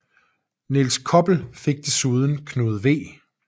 Nils Koppel fik desuden Knud V